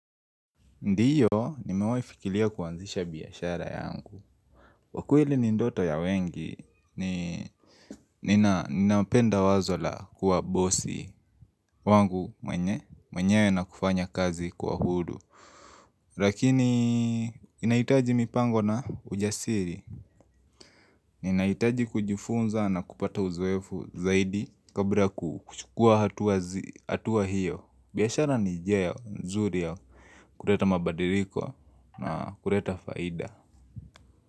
Ndio, nimewaifikilia kuanzisha biashara yangu. kWa kweli ni ndoto ya wengi, ninapenda wazo la kuwa bosi wangu mwenyewe na kufanya kazi kwa hudu. Lakini, inaitaji mipango na ujasiri. Inaitaji kujifunza na kupata uzoefu zaidi kabla ya kuchukua hatua hiyo. Biashara ni njia nzuri ya kuleta mabadiriko na kuleta faida.